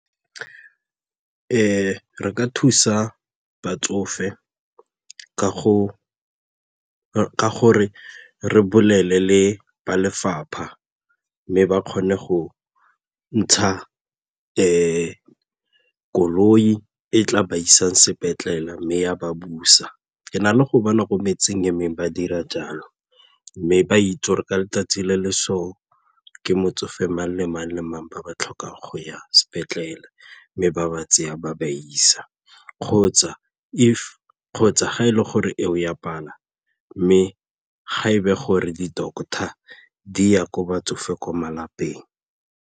Re ka thusa batsofe ka gore re bolele le ba lefapha mme ba kgone go ntsha koloi e tla ba isang sepetlele mme ya ba busa, ke na le go bona ko metseng e mengwe ba dira jalo mme ba itse gore ka letsatsi le le so ke motsofe mang le mang le mang ba ba tlhokang go ya sepetlele mme ba ba tseya ba ba isa kgotsa ga e le gore eo e a pala mme ga e be gore di-doctor di ya ko batsofe ko malapeng.